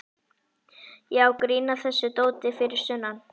Já, grín að þessu dóti fyrir sunnan.